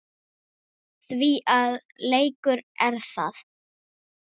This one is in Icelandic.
Því að leikur er það.